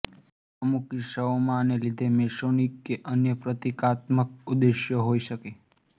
અમુક કિસ્સાઓમાં આને લીધે મેસોનીક કે અન્ય પ્રતીકાત્મક ઉદ્દેશ્યો હોઇ શકે